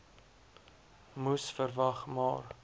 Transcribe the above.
moes verwag maar